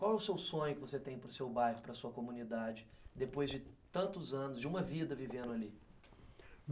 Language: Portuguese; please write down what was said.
Qual é o seu sonho que você tem para o seu bairro, para a sua comunidade, depois de tantos anos, de uma vida vivendo ali?